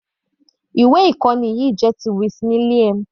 Ìwé ìkọ́ni yìí jẹ́ ti Miss William.